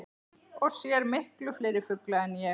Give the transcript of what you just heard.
Og sér miklu fleiri fugla en ég.